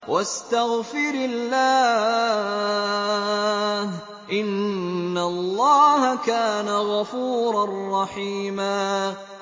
وَاسْتَغْفِرِ اللَّهَ ۖ إِنَّ اللَّهَ كَانَ غَفُورًا رَّحِيمًا